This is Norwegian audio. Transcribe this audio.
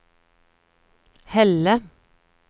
Helle